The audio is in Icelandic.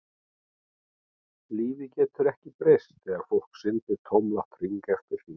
Lífið getur ekki breyst þegar fólk syndir tómlátt hring eftir hring.